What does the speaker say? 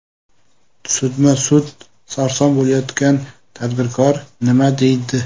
Sudma-sud sarson bo‘layotgan tadbirkor nima deydi?